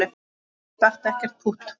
Það datt ekkert pútt.